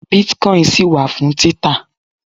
bitcoin ṣì wà fún títà